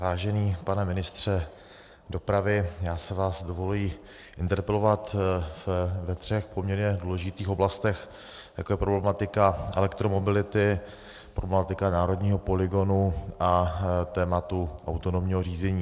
Vážený pane ministře dopravy, já si vás dovoluji interpelovat ve třech poměrně důležitých oblastech, jako je problematika elektromobility, problematika národního polygonu a tématu autonomního řízení.